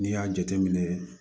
N'i y'a jateminɛ